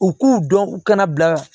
U k'u dɔn u kana bila